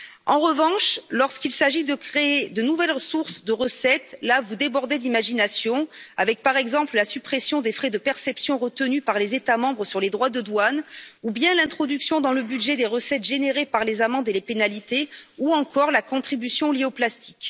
En revanche, lorsqu'il s'agit de créer de nouvelles sources de recettes, là vous débordez d'imagination avec, par exemple, la suppression des frais de perception retenus par les États membres sur les droits de douane ou bien l'introduction dans le budget des recettes générées par les amendes et les pénalités ou encore la contribution liée au plastique.